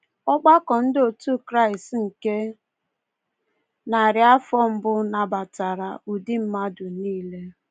Ọgbakọ ndị otu Kraịst nke narị afọ mbụ nabatara “ụdị mmadụ nile.”